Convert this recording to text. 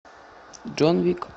джон уик